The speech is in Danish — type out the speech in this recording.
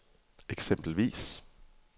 eksempelvis